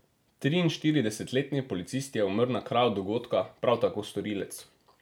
Triinštiridesetletni policist je umrl na kraju dogodka, prav tako storilec.